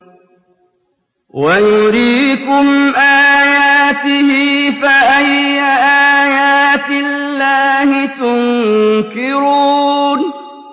وَيُرِيكُمْ آيَاتِهِ فَأَيَّ آيَاتِ اللَّهِ تُنكِرُونَ